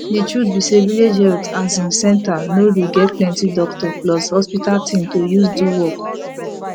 de truth be say village health asin center no get dey plenti doctor plus hospital thing to use do work